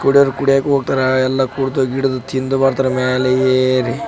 ಕುಡಿಯೋರ್ ಕುಡಿಯಾಕ್ ಹೋಗ್ತಾರಾ ಎಲ್ಲ ಕುಡ್ದು ಗಿಡ್ದು ತಿಂದು ಬರ್ತಾರ ಅಮಾಲ್ ಏರಿ .